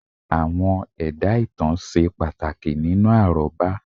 Àwọn ẹ̀dá ìtàn ṣe pàtàkì nínú àrọ́bá